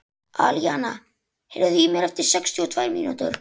Alíana, heyrðu í mér eftir sextíu og tvær mínútur.